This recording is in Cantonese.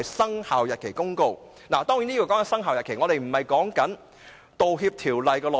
當然，所謂"生效日期"並非指《道歉條例》的內容。